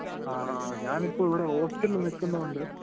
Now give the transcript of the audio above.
ങാ...ഞാനിപ്പോ ഇവിടെ ഹോസ്റ്റലില് നിക്കുന്നോണ്ട്